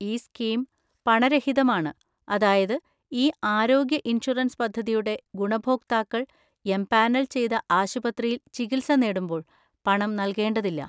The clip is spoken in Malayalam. ഈ സ്കീം പണരഹിതമാണ്, അതായത് ഈ ആരോഗ്യ ഇൻഷുറൻസ് പദ്ധതിയുടെ ഗുണഭോക്താക്കൾ എംപാനൽ ചെയ്ത ആശുപത്രിയിൽ ചികിത്സ നേടുമ്പോൾ പണം നൽകേണ്ടതില്ല.